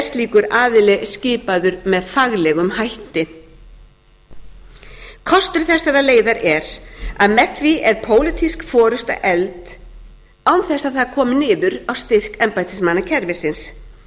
slíkur aðili skipaður með faglegum hætti kostur þessarar leiðar er að með því er pólitísk forusta efld án þess að það komi niður á styrk embættismannakerfisins